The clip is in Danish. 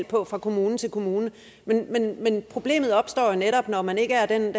på fra kommune til kommune men problemet opstår jo netop når man ikke er den